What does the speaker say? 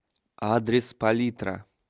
адрес палитра